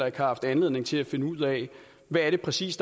ikke har haft anledning til at finde ud af hvad der præcis